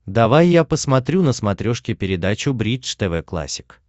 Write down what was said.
давай я посмотрю на смотрешке передачу бридж тв классик